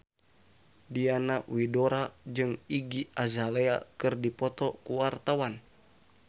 Diana Widoera jeung Iggy Azalea keur dipoto ku wartawan